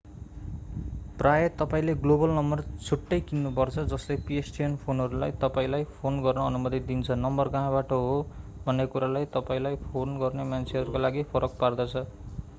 प्रायः तपाईंले global number छुट्टै किन्नु पर्छ जसले pstn फोनहरूलाई तपाईंलाई फोन गर्न अनुमति दिन्छ नम्बर कहाँबाट हो भन्ने कुराले तपाईंलाई फोन गर्ने मान्छेहरूका लागि फरक पार्दछ